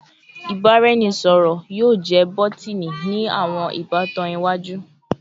Ibaraẹnisọrọ yoo jẹ bọtini ni awọn ibatan iwaju